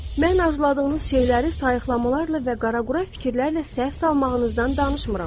Mən arzuladığınız şeyləri sayıqlamalarla və qaraqura fikirlərlə səhv salmağınızdan danışmıram.